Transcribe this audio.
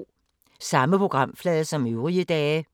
Samme programflade som øvrige dage